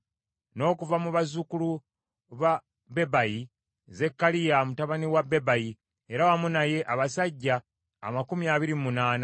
n’okuva mu bazzukulu ba Bebayi, Zekkaliya mutabani wa Bebayi, era wamu naye abasajja amakumi abiri mu munaana (28);